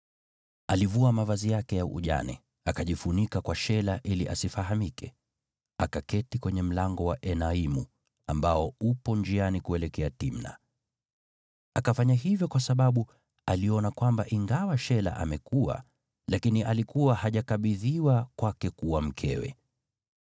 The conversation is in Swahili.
alivua mavazi yake ya ujane, akajifunika kwa shela ili asifahamike, akaketi kwenye mlango wa Enaimu, ambao upo njiani kuelekea Timna. Akafanya hivyo kwa sababu aliona kwamba, ingawa Shela amekua, lakini alikuwa hajakabidhiwa kwake kuwa mkewe.